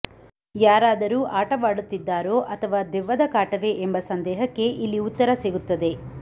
ಯಾರಾದರೂ ಆಟವಾಡುತ್ತಿದ್ದಾರೋ ಅಥವಾ ದೆವ್ವದ ಕಾಟವೇ ಎಂಬ ಸಂದೇಹಕ್ಕೆ ಇಲ್ಲಿ ಉತ್ತರ ಸಿಗುತ್ತದೆ